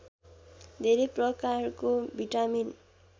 धेरै प्रकारको भिटामिन